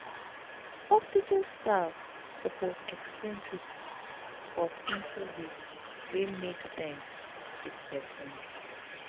hospital staff sopose explain treatment for simple way wey make sense give sick pesin